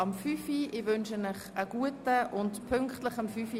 Ich wünsche Ihnen einen guten Appetit.